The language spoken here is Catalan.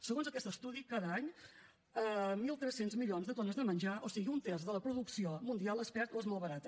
segons aquest estudi cada any mil tres cents milions de tones de menjar o sigui un terç de la producció mundial es perd o es malbarata